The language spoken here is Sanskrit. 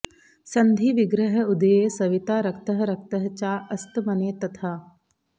सन्धि विग्रह उदये सविता रक्तः रक्तः चा अस्तमने तथा